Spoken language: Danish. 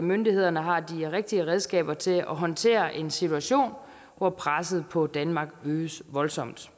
myndighederne har de rigtige redskaber til at håndtere en situation hvor presset på danmark øges voldsomt